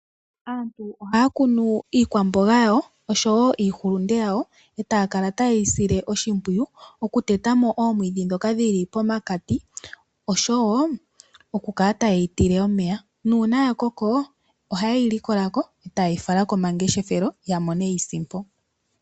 Aantu oha ya kunu iikwamboga osho wo iihulunde yawo e ta ya kala ta ye yi sile oshimpwiyu, okuteta mo oomwiidhi ndhoka dhi li pomakati osho wo okukala ta ye yi tile omweya. Uuna ya koko, oha ye yi likola ko, e ta ye yi fala komangeshefelo ya mone iisimpo.